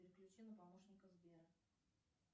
переключи на помощника сбера